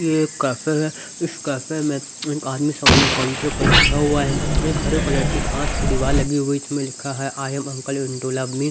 ये एक कैफे है इस कैफे में एक आदमी सामने काउंटर पर बैठा हुआ है एक हरे कलर की घास की दीवार लगी हुई इसमें लिखा है I am uncle in to love me.